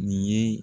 Nin ye